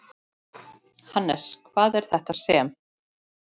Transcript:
Hannes, hvað er þetta sem?